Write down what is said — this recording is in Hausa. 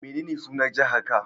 Menene sunan jihar ka?